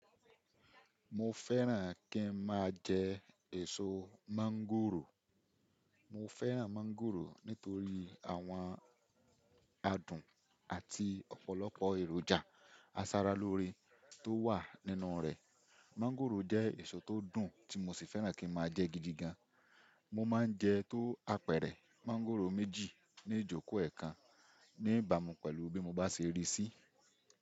Mo fẹ́ràn kí n máa jẹ èso mańgòrò. Mo fẹ́ràn mọ́ńgòrò nítorí àwọn adùn àti ọ̀pọ̀lọpọ̀ èròjà aṣaralóore tó wà nínú rẹ̀. Mańgòrò jẹ́ èso tó dùn tí mo sì fẹ́ràn kí n máa jẹ gidi gan. Mo máa ń jẹ tó apẹ̀rẹ̀ mańgòrò méjì ní ìjókòó ẹ̀ kan ní ìbàmú pẹ̀lú bí mo bá ṣe rí sí.